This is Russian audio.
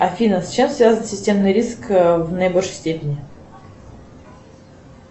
афина с чем связан системный риск в наибольшей степени